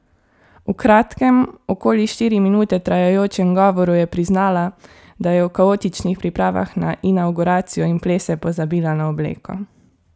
V kratkem, okoli štiri minute trajajočem govoru, je priznala, da je v kaotičnih pripravah na inavguracijo in plese pozabila na obleko.